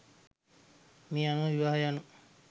මේ අනුව විවාහය යනු